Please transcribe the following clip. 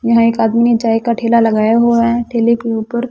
यहां एक आदमी चाय का ठेला लगाया हुआ है ठेले के ऊपर--